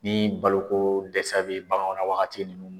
Ni baloko dɛsɛ bɛ baganw ra wagati min.